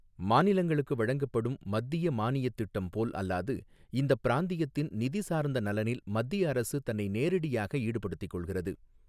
மாநிலங்களுக்கு வழங்கப்படும் மத்திய மானியத் திட்டம் போல் அல்லாது இந்தப் பிராந்தியத்தின் நிதி சார்ந்த நலனில் மத்திய அரசு தன்னை நேரடியாக ஈடுபடுத்திக்கொள்கிறது.